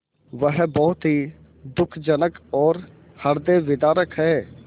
वह बहुत ही दुःखजनक और हृदयविदारक है